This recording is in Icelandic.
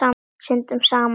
Syndum saman.